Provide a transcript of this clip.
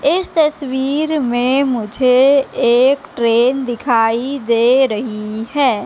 इस तस्वीर में मुझे एक ट्रेन दिखाई दे रही है।